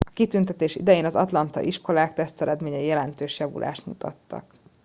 a kitüntetés idején az atlantai iskolák teszteredményei jelentős javulást mutattak